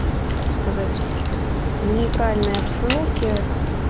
так сказать в нейтральной обстановке